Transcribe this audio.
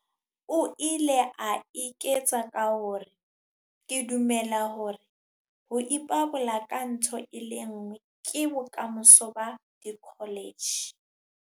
O ile a eketsa ka hore. Ke dumela hore ho ipabola ka ntho e le nngwe ke bokamoso ba dikholetjhe.